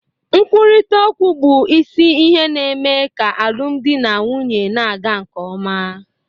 Nkwurịta okwu bụ isi ihe na-eme ka alụmdi na nwunye na-aga nke ọma.